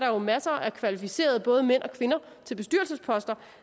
jo masser af kvalificerede både mænd og kvinder til bestyrelsesposter